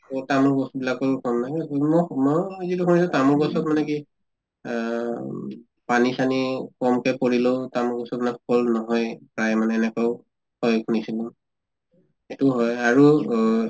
অ তামোল গছ বিলাকৰো ফল নাই, বিভিন্ন সময়ত যিটো ভাবিছো তামোল গছত মানে কি আহ পানী চানী কমকে পৰিলেও তামোল গছত মানে ফল নহয়ে। প্ৰায় মানে এনেকেও হয় শুনিছিলো, এইটো হয় আৰু